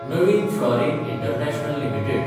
नवीन fluorine international limited